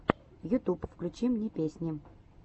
ютуб включи мне песни